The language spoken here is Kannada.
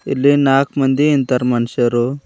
ಇಲ್ಲಿ ನಾಲ್ಕು ಮಂದಿ ನಿಂತರೆ ಮನುಷ್ಯರು.